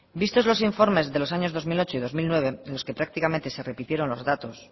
vistos los informes de los años dos mil ocho y dos mil nueve en los que prácticamente se repitieron los datos